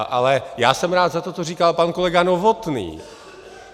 Ale já jsem rád za to, co říkal pan kolega Novotný.